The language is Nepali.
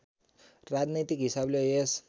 राजनैतिक हिसाबले यस